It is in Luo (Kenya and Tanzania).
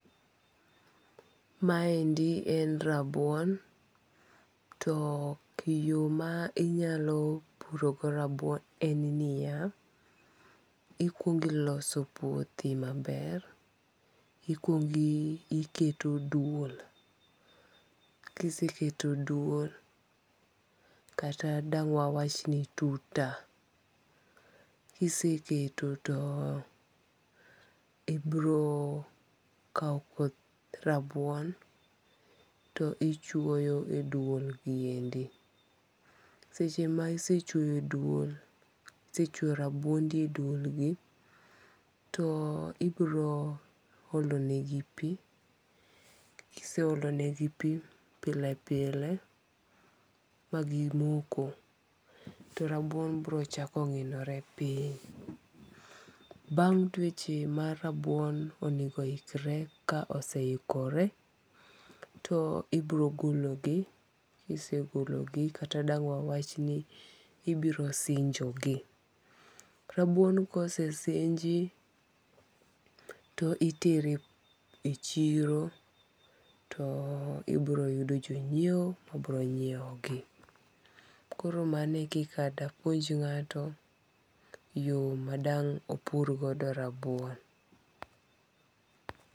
Maendi en rabuon, to yo ma inyalo purogo rabuon en ni ya, ikwongi loso puothi maber, ikuongi iketo duol ,kiseketo duol kata dang' wawachni tuta, kiseketo to ibiro kau koth rabuon to ichuoyo e duolgi endi. Seche ma isechuoyo duol isechuo rabuondi e duolgi to ibiro olonegi pi kiseolonegipi pilepile magimoko to rabuon biro chako ngi'nore piny. Bang' dweche mar rabuon onego ikre ka oseikre to ibiro gologi kisegologi kata dang' wawachni ibirosinjogi, rabuon ka osesinji to itere e chiro to ibiro yudo jonyiewo ma biro nyiewogi koro mane e kika madang' apuonj nga'to e yo ma dang' opur godo rabuon.